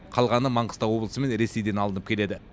қалғаны маңғыстау облысы мен ресейден алынып келеді